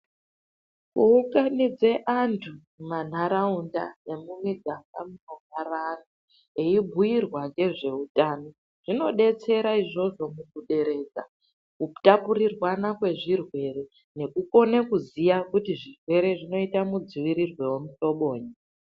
Kuunganidze antu mumanharaunda nemumigaga munogara antu eibhuyirwa ngezveutano zvinodetsera izvozvo mukuderedza kutapurirwana kwezvirwere nekukone kuziya kuti zvirwere zvinoitwa mudziirirenyi wemuhlobonyi.